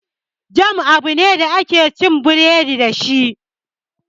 Jam abu ne da ake cin biredi dashi